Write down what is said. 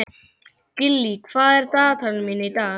Gillý, hvað er á dagatalinu mínu í dag?